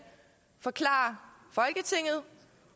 forklare folketinget